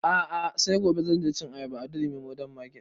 A'a sai gobe zan je cin ayaba a durumi modern market